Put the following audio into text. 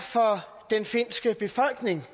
det